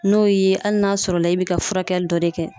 N'o y'i ye ali n'a sɔrɔ la i be ka furakɛli dɔ de kɛ